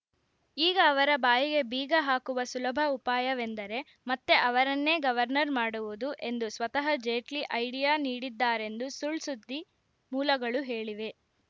ಈಗ ಅವರ ಬಾಯಿಗೆ ಬೀಗ ಹಾಕುವ ಸುಲಭ ಉಪಾಯವೆಂದರೆ ಮತ್ತೆ ಅವರನ್ನೇ ಗವರ್ನರ್‌ ಮಾಡುವುದು ಎಂದು ಸ್ವತಃ ಜೇಟ್ಲಿ ಐಡಿಯಾ ನೀಡಿದ್ದಾರೆಂದು ಸುಳ್‌ಸುದ್ದಿ ಮೂಲಗಳು ಹೇಳಿವೆ